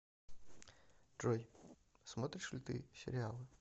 джой смотришь ли ты сериалы